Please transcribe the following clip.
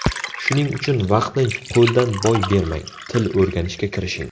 Shuning uchun vaqtni qo‘ldan boy bermang, til o‘rganishga kirishing!